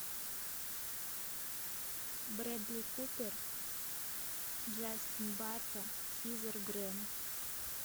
брэдли купер джастин барта хизер грэм